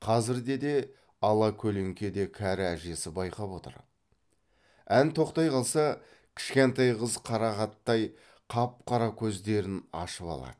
қазірде де ала көлеңкеде кәрі әжесі байқап отыр ән тоқтай қалса кішкентай қыз қарағаттай қап қара көздерін ашып алады